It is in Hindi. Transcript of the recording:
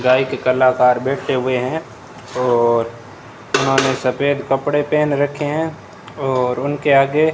गायिक कलाकार बैठे हुए है और उन्होंने सफेद कपड़े पहन रखे है और उनके आगे --